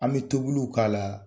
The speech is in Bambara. An bɛ tobiliw k'a la,